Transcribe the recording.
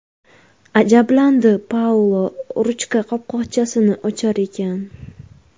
ajablandi Paulo ruchka qopqochasini ochar ekan.